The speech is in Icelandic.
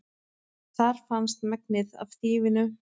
Þar fannst megnið af þýfinu